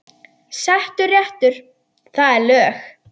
Settur réttur, það er lög.